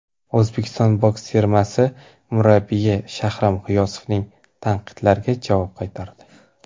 O‘zbekiston boks termasi murabbiyi Shahram G‘iyosovning tanqidlariga javob qaytardi !